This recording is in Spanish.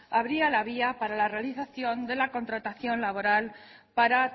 abría la vía para la realización de la contratación laboral para